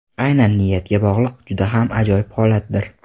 Aynan niyatga bog‘liq juda ham ajoyib holatdir.